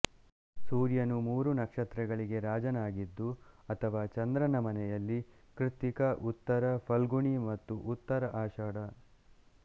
ಸೂರ್ಯನು ಮೂರು ನಕ್ಷತ್ರ ಗಳಿಗೆ ರಾಜನಾಗಿದ್ದು ಅಥವಾ ಚಂದ್ರನ ಮನೆಯಲ್ಲಿ ಕೃತ್ತಿಕ ಉತ್ತರ ಫಲ್ಗುಣಿಮತ್ತು ಉತ್ತರ ಆಷಾಢ